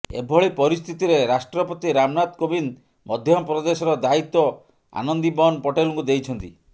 ଏଭଳି ପରିସ୍ଥିତିରେ ରାଷ୍ଟ୍ରପତି ରାମନାଥ କୋବିନ୍ଦ ମଧ୍ୟପ୍ରଦେଶର ଦାୟିତ୍ୱ ଆନନ୍ଦିବନ୍ ପଟେଲଙ୍କୁ ଦେଇଛନ୍ତି